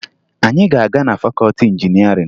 Anyị ga-aga na fakọọti injinịarịn